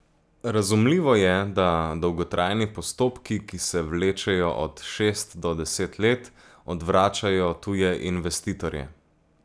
Razumljivo je, da dolgotrajni postopki, ki se vlečejo od šest do deset let, odvračajo tuje investitorje.